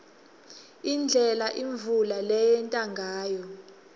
indlela imvula leyenteka ngayo